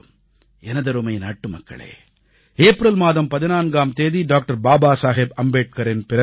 எனதருமை நாட்டுமக்களே ஏப்ரல் மாதம் 14ஆம் தேதி டாக்டர் பாபா சாஹேப் அம்பேத்கரின் பிறந்த நாள்